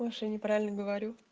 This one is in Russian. может я неправильно говорю